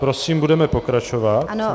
Prosím, budeme pokračovat.